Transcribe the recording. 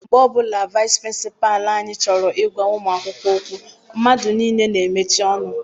Mgbe ọbụla vaịsị pịrịnsịpalụ anyị chọrọ I gwa ụmụ akwụkwọ okwu, mmadụ niile n'emechi ọnụ.